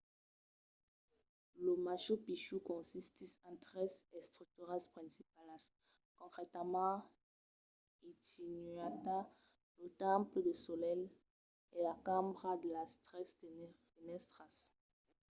lo machu picchu consistís en tres estructuras principalas concretament intihuatana lo temple del solelh e la cambra de las tres fenèstras